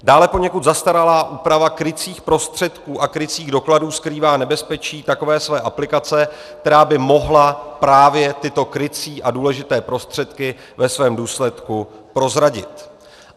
Dále poněkud zastaralá úprava krycích prostředků a krycích dokladů skrývá nebezpečí takové své aplikace, která by mohla právě tyto krycí a důležité prostředky ve svém důsledku prozradit.